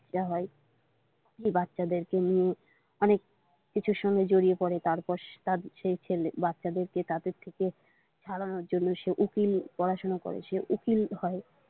বাচ্ছা হয় এই বাচ্ছাদেরকে নিয়ে অনেক কিছুর সঙ্গে জড়িয়ে পরে তারপর সে তার বাচ্ছাদেরকে তাদের থেকে ছাড়ানোর জন্য সে উকিল পড়াশোনা করে সে উকিল হয়।